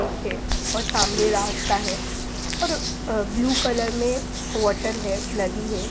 ठीक है और समाने रास्ता है और ब्लू कलर में वोटर हैनदी हैं।